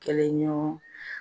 Kɛlɛ ɲɔgɔn.